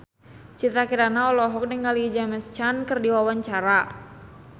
Citra Kirana olohok ningali James Caan keur diwawancara